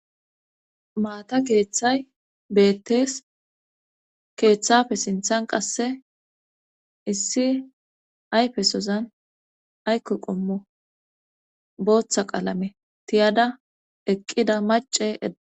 Maata keeththay beettees keeththafe sinthan qasse issi ayfesozan aykko qommo booththa qaalame tiyada eqqida mace eda